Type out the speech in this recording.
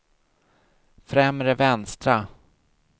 främre vänstra